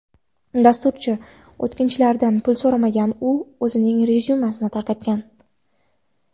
Dasturchi o‘tkinchilardan pul so‘ramagan u o‘zining rezyumesini tarqatgan.